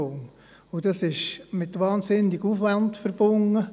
Diese Arbeit ist mit enormem Aufwand verbunden.